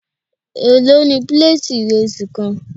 Èló ni píléètì ìrẹsì kan.?